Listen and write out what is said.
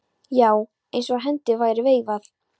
Já, eins og hendi væri veifað.